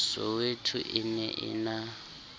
soweto e ne e na